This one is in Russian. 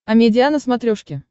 амедиа на смотрешке